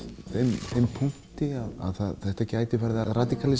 þeim punkti að þetta gæti farið að